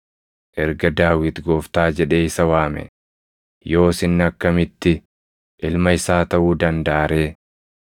Erga Daawit, ‘Gooftaa’ jedhee isa waame, yoos inni akkamitti ilma isaa taʼuu dandaʼa ree?”